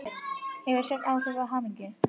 Hefur svefn áhrif á hamingju?